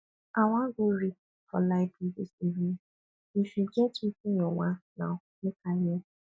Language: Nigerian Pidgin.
i wan go read for library dis evening if e get wetin you want now make i know